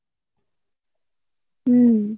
হম।